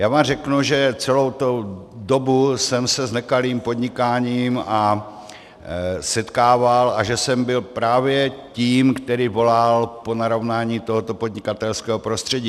Já vám řeknu, že celou tu dobu jsem se s nekalým podnikáním setkával a že jsem byl právě tím, kdo volal po narovnání tohoto podnikatelského prostředí.